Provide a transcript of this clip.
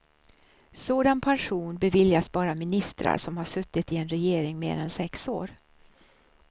Sådan pension beviljas bara ministrar som har suttit i en regering mer än sex år.